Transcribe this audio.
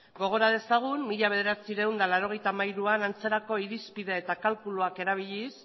gogora dezagun mila bederatziehun eta laurogeita hiruan antzerako irizpide eta kalkuluak erabiliz